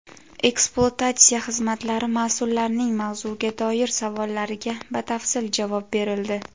ekspluatatsiya xizmatlari mas’ullarining mavzuga doir savollariga batafsil javob berildi.